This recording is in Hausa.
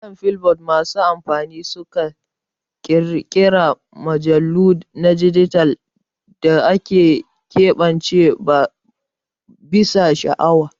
Akan Flipboard masu amfani suna ƙirƙirar mujallu na dijital da aka keɓance bisa sha'awa.